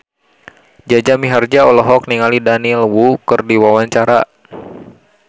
Jaja Mihardja olohok ningali Daniel Wu keur diwawancara